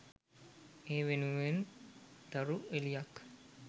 ඒ වෙනුවෙන් තරු එළියක්